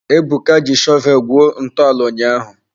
Ebuka ji shọvel gwuo ntọala ụnyaahụ.